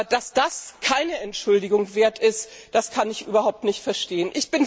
Dass das keine Entschuldigung wert ist, kann ich überhaupt nicht verstehen.